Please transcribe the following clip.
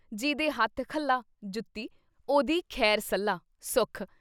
ਜੀਦੇ ਹੱਥ ਖੱਲਾ (ਜੁੱਤੀ), ਉਹਦੀ ਖੈਰ-ਸੱਲਾ (ਸੁੱਖ)